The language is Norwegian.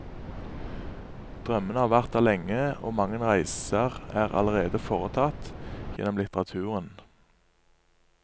Drømmene har vært der lenge, og mange reiser er allerede foretatt, gjennom litteraturen.